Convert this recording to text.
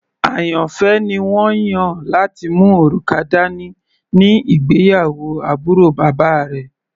Àyànfẹ́ ni wọ́n yàn láti mú òrùka dání ní ìgbéyàwó àbúrò bàbá rẹ̀.